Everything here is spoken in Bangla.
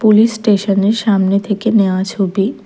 পুলিশ স্টেশনের সামনে থেকে নেওয়া ছবি।